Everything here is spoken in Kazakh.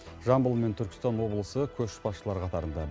жамбыл мен түркістан облысы көшбасшылар қатарында